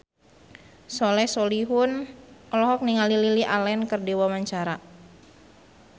Soleh Solihun olohok ningali Lily Allen keur diwawancara